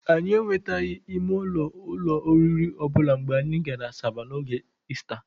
Anyị enwetaghị ime ụlọ n'ụlọ oriri ọbụla mgbe anyị gara Asaba n'oge Ista.